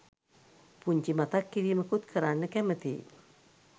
පුංචි මතක් කිරිමකුත් කරන්න කැමතියි